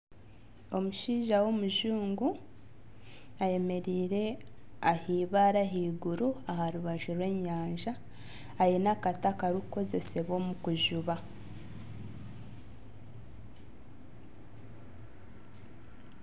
Omushaija w'omujungu ayemereire ah'eibaare ahaiguru aha rubaju rw'enyanja aine akati akarikukozesibwa omu kujuba.